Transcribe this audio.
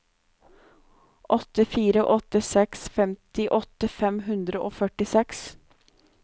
åtte fire åtte seks femtiåtte fem hundre og førtiseks